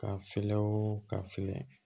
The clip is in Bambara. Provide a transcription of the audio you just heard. Ka filɛw ka filɛ